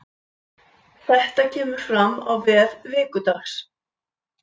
Þetta kemur fram á vef Vikudags